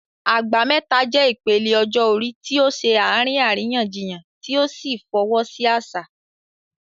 Agba Meta" jẹ́ ìpele ọjọ́ orí tí ó ṣe àárín àríyànjiyàn tí ó sì fọwọ́ sí àṣà.